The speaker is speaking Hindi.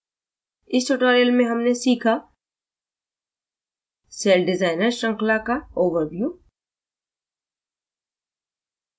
इस tutorial में हमने सीखा